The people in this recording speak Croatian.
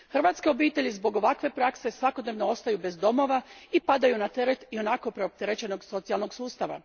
Hrvatske obitelji zbog ovakve prakse svakodnevno ostaju bez domova i padaju na teret ionako preopterećenog socijalnog sustava.